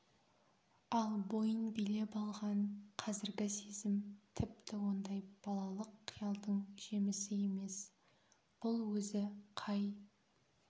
ал бойын билеп алған қазіргі сезім тіпті ондай балалық қиялдың жемісі емес бұл өзі қай